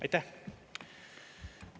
Aitäh!